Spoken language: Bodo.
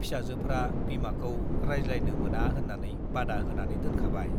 फिसाजोफ्रा बिमाखौ रायज्लायनो मोना होन्नानै बादा होनानै दोनखाबाय ।